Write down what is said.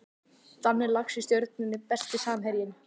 Danni Lax í Stjörnunni Besti samherjinn?